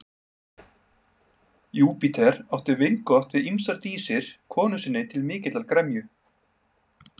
Júpíter átti vingott við ýmsar dísir konu sinni til mikillar gremju.